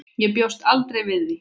Ég bjóst aldrei við því.